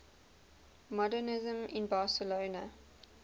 modernisme in barcelona